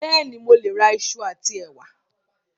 Bẹ́ẹ̀ni, mo ń lọ ra ìṣù àti ẹ̀wà